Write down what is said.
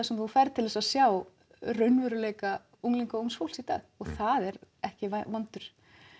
sem þú ferð til að sjá raunveruleika unglinga og ungs fólks í dag og það er ekki vondur